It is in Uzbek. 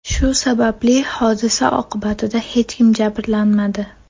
Shu sababli hodisa oqibatida hech kim jabrlanmadi.